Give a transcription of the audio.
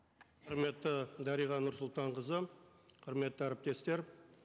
құрметті дариға нұрсұлтанқызы құрметті әріптестер